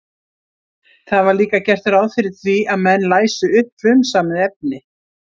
Það var líka gert ráð fyrir því að menn læsu upp frumsamið efni.